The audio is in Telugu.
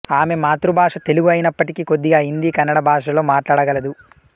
ఆమె మాతృభాష తెలుగు అయినప్పటికీ కొద్దిగా హిందీ కన్నడ భాషలలో మాట్లాడగలదు